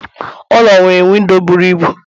Ụlọ nwere windo bụrụ ịbụ